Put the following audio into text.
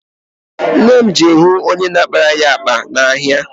Nne m je hụ onye na-akpara ya akpa n'ahịa.